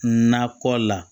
Nakɔ la